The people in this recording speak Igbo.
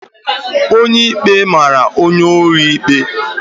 Onye ikpe mara onye ohi ikpe?